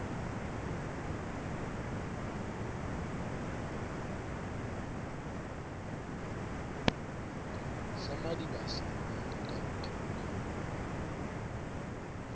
sa madibase mo nyeka hotloha